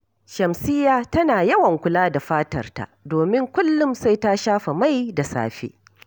Shamsiyya tana yawan kula da fatarta, domin kullum sai ta shafa mai da safe